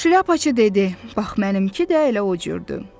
Şlyapaçı dedi, bax, mənimki də elə o cürdür.